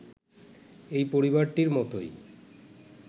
এই পরিবারটির মতোই